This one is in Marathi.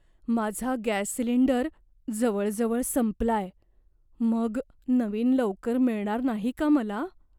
माझा गॅस सिलिंडर जवळजवळ संपलाय. मग नवीन लवकर मिळणार नाही का मला?